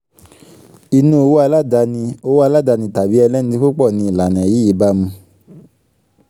inú òwò aládáni òwò aládáni tàbí ẹlẹ́ni púpọ̀ ni ìlànà yìí bá mu